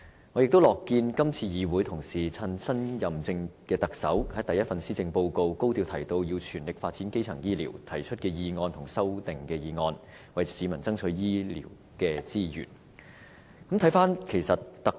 我也樂見今次議會同事藉着新任特首發表的第一份施政報告高調提及要全力發展基層醫療，從而提出議案和修正案，為市民爭取醫療資源。